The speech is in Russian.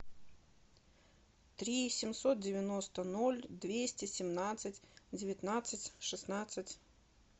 три семьсот девяносто ноль двести семнадцать девятнадцать шестнадцать